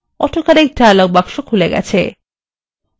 auto correct dialog বাক্স খুলে গেছে